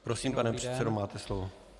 Prosím, pane předsedo, máte slovo.